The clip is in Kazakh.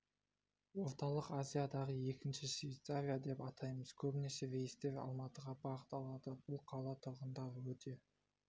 орталық азиядағы екінші швейцария деп атаймыз көбінесе рейстер алматыға бағыт алады бұл қала тұрғындары өте